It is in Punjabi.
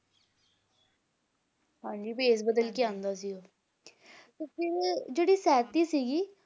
ਹਾਂਜੀ ਭੇਸ ਬਦਲ ਕੇ ਆਂਦਾ ਸੀ ਉਹ ਤੇ ਜਿਹੜੀ ਸੈਤੀ ਸੀਗੀ